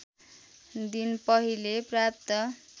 दिन पहिले प्राप्त